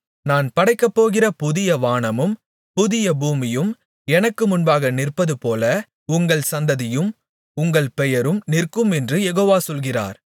நான் படைக்கப்போகிற புதிய வானமும் புதிய பூமியும் எனக்கு முன்பாக நிற்பதுபோல உங்கள் சந்ததியும் உங்கள் பெயரும் நிற்குமென்று யெகோவா சொல்கிறார்